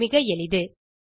இது மிக எளிது